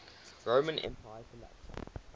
roman empire collapsed